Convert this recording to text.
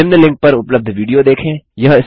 निम्न लिंक पर उपलब्ध विडियो देखें